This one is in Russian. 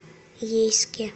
ейске